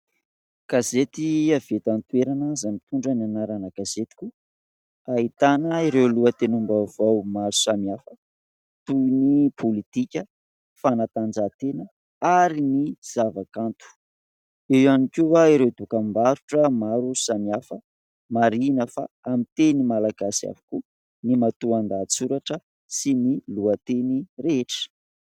Gazety avy eto an-toerana, izay mitondra ny anarana Gazetiko, ahitana ireo lohatenim-baovao maro samihafa toy ny : pôlitika, fanatanjahantena ary ny zavakanto, eo ihany koa ireo dokam-barotra maro samihafa. Marihana fa amin'ny teny malagasy avokoa ny matoan-dahatsoratra sy ny lohateny rehetra.